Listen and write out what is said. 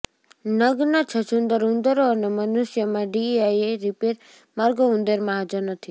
નગ્ન છછુંદર ઉંદરો અને મનુષ્યોમાં ડીઆઈએ રિપેર માર્ગો ઉંદરમાં હાજર નથી